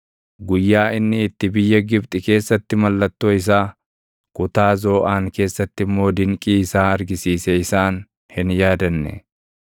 Guyyaa inni itti biyya Gibxi keessatti mallattoo isaa, kutaa Zooʼaan keessatti immoo dinqii isaa argisiise isaan hin yaadanne.